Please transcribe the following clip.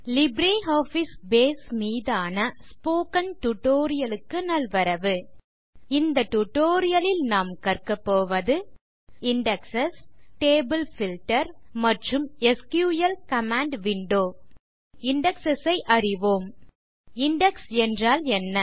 LibreOffice Base மீதான spoken tutorial க்கு நல்வரவு இந்த டியூட்டோரியல் நாம் கற்கபோவது இண்டெக்ஸ் டேபிள் பில்ட்டர் மற்றும் எஸ்கியூஎல் கமாண்ட் விண்டோ முதலில் இண்டெக்ஸ் ஐ அறிவோம் இண்டெக்ஸ் என்றால் என்ன